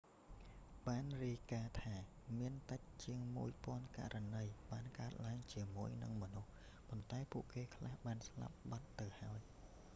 បានរាយការណ៍ថាមានតិចជាងមួយពាន់ករណីបានកើតឡើងជាមួយនឹងមនុស្ស ប៉ុន្តែពួកគេខ្លះបានស្លាប់បាត់ទៅហើយ